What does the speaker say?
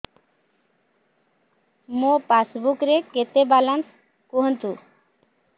ମୋ ପାସବୁକ୍ ରେ କେତେ ବାଲାନ୍ସ କୁହନ୍ତୁ